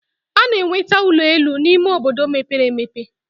A na-enweta ụlọ elu n'ime obodo mepere emepe.